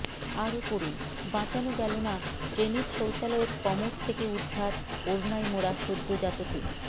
আরও পড়ুন বাঁচানো গেল না ট্রেনের শৌচালয়ের কমোড থেকে উদ্ধার ওড়নায় মোড়া সদ্যোজাতকে